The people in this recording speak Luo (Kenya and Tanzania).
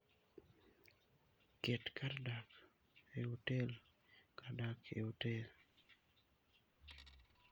Ket kar dak e otel kar dak e otel.